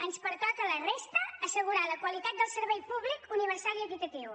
ens pertoca a la resta assegurar la qualitat del servei públic universal i equitatiu